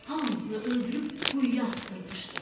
Hamısını öldürüb quyuya atdırmışdı.